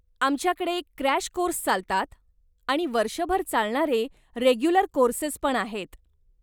आमच्याकडे crash course चालतात आणि वर्षभर चालणारे रेग्युलर कोर्सेसपण आहेत.